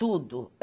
Tudo.